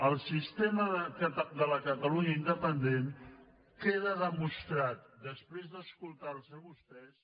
el sistema de la catalunya independent queda demostrat després d’escoltar los a vostès